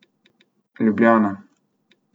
Ljubljana.